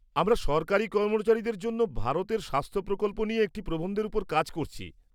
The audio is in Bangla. আমরা সরকারি কর্মচারীদের জন্য ভারতের স্বাস্থ প্রকল্প নিয়ে একটি প্রবন্ধের ওপর কাজ করছি।